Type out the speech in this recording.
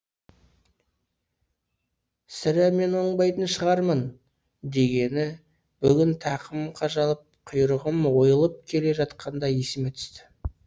сірә мен оңбайтын шығармын дегені бүгін тақымым қажалып құйрығым ойылып келе жатқанда есіме түсті